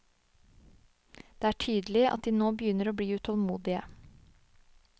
Det er tydelig at de nå begynner å bli utålmodige.